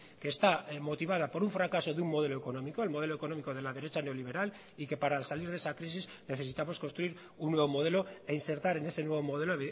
que está motivada por un fracaso de un modelo económico el modelo económico de la derecha neoliberal y que para salir de esa crisis necesitamos construir un nuevo modelo e insertar en ese nuevo modelo